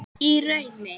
Í draumi